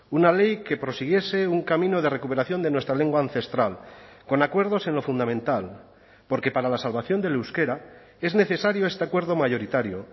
una ley que prosiguiese un camino de recuperación de nuestra lengua ancestral con acuerdos en lo fundamental porque para la salvación del euskera es necesario este acuerdo mayoritario